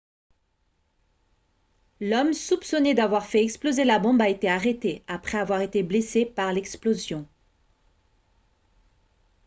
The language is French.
l'homme soupçonné d'avoir fait exploser la bombe a été arrêté après avoir été blessé par l'explosion